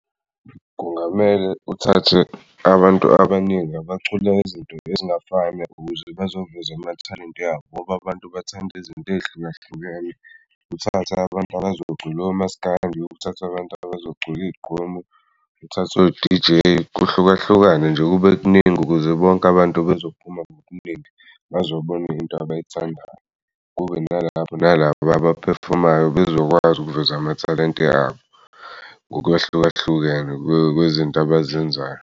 Kungamele uthathe abantu abaningi abaculi izinto ezingafani ukuze bazoveza amathalente abo, ngoba abantu bathanda izinto ey'hlukahlukene uthathe abantu abazocula omaskandi, uthatha'bantu abazocula igqomu, uthathe o-D_J, kuhlukahlukane nje kube kuningi ukuze bonke abantu bezophuma ngokuningi bezobona into abayithandayo. Kube nalabo nalabo abaphefomayo bezokwazi ukuveza amathalente abo ngokwehlukahlukene kwezinto abazenzayo.